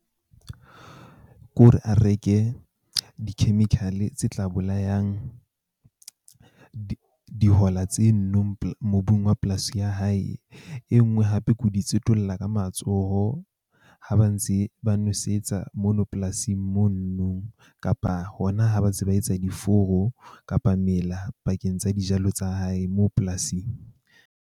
Ke hore a reke di-chemical-e tse tla bolayang dihola tse nnong mobung wa polasi ya hae. E nngwe hape ke ho di tsetolla ka matsoho. Ha ba ntse ba nwesetsa mono polasing mono no kapa hona ha ba ntse ba etsa diforo kapa mela bakeng tsa dijalo tsa hae moo polasing.